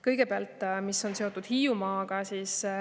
Kõigepealt sellest, mis on seotud Hiiumaaga.